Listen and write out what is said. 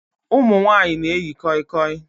Ụmụ nwanyị na-eyi koi koi